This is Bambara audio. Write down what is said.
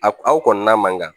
A aw kɔni na man kan